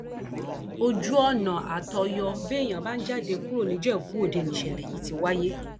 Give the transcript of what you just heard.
ojú ọnà àtọyọ béèyàn bá ń jáde kúrò nìjẹbúọdẹ ni ìṣẹlẹ yìí ti wáyé